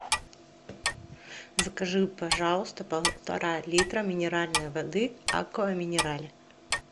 закажи пожалуйста полтора литра минеральной воды аква минерале